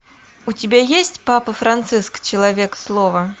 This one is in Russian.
у тебя есть папа франциск человек слова